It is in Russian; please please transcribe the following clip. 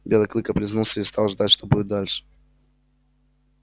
белый клык облизнулся и стал ждать что будет дальше